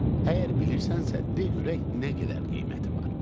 Əgər bilirsənsə, de görək nə qədər qiyməti var.